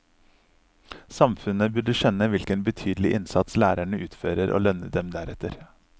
Samfunnet burde skjønne hvilken betydelig innsats lærerne utfører og lønne dem deretter.